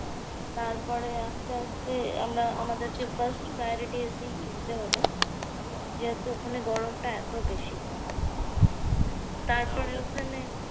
তারপরে আস্তে আস্তে আমরা আমাদেরকে first priority AC কিনতে হলো। যেহেতু ওখানে গরমটা এত বেশি। তারপরে ওখানে